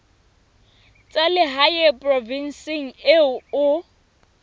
tsa lehae provinseng eo o